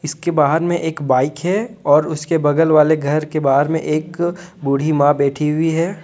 इसके बाहर में एक बाइक है और उसके बगल वाले घर के बाहर में एक बूढ़ी मां बैठी हुई है।